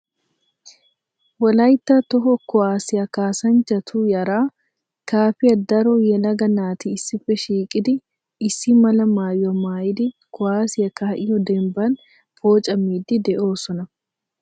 Wolaytta Toho kuwassiya kaasanchchatu yara kaafiyaa daro yelaga naati issippe shiiqidi issi mala maayyuwaa maayyidi kuwassiyaa kaa'iyo dembban poocamidi de'oosona.